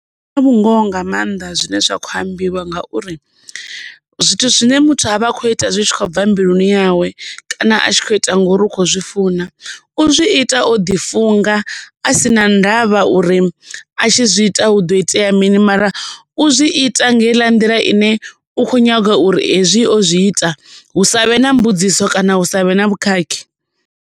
Zwina vhungoho nga maanḓa zwine zwa kho ambiwa ngauri zwithu zwine muthu avha a kho ita zwi tshi khou bva mbiluni yawe kana a tshi kho ita ngori u kho zwi funa u zwi ita o ḓi funga a si na ndavha uri a tshi zwi ita hu do itea mini mara u zwi ita nga heiḽa nḓila ine u kho nyaga uri hezwi o zwi ita hu savhe na mbudziso kana hu savhe na vhukhakhi.